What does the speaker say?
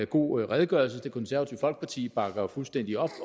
god redegørelse det konservative folkeparti bakker fuldstændig op